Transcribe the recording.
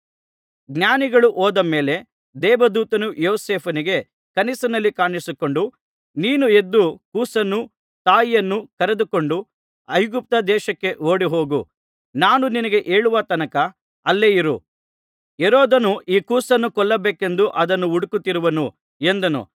ಜ್ಞಾನಿಗಳು ಹೋದ ಮೇಲೆ ದೇವದೂತನು ಯೋಸೇಫನಿಗೆ ಕನಸಿನಲ್ಲಿ ಕಾಣಿಸಿಕೊಂಡು ನೀನು ಎದ್ದು ಕೂಸನ್ನೂ ತಾಯಿಯನ್ನೂ ಕರೆದುಕೊಂಡು ಐಗುಪ್ತ ದೇಶಕ್ಕೆ ಓಡಿಹೋಗು ನಾನು ನಿನಗೆ ಹೇಳುವ ತನಕ ಅಲ್ಲೇ ಇರು ಹೆರೋದನು ಈ ಕೂಸನ್ನು ಕೊಲ್ಲಬೇಕೆಂದು ಅದನ್ನು ಹುಡುಕುತ್ತಿರುವನು ಎಂದನು